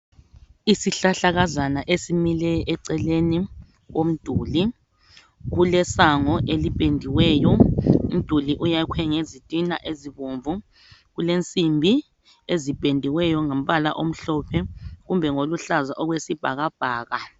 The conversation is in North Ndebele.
Izihlahlakazana esimile eceleni komduli, kulesango eliphendiweyo umduli uyakwe ngezitina ezibomvu. Kulensimbi eziphendiweyo ngombala omhlophe kumbe ngoluhlaza okwesibhakabhaka.